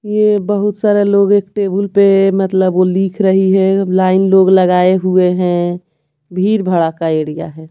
ये बहुत सारे लोग एक टेबल पे मतलब वो लिख रही है लाइन लोग लगाए हुए हैं भीड भड़ा का एरिया है।